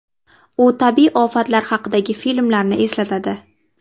U tabiiy ofatlar haqidagi filmlarni eslatadi.